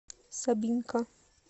собинка